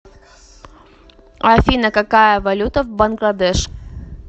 афина какая валюта в бангладеш